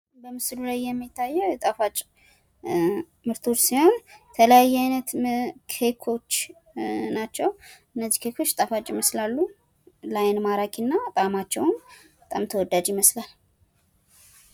በምስሉ ላይ የሚታየው የጣፋጭ ምርቶች ሲሆን የተለያየ አይነት ኬኮች ናቸዉ። እነዚህ ኬኮች ጣፋጭ ይመስላሉ። ለአይን ማራኪ እና ጣማቸውም በጣም ተወዳጅ ይመስላል።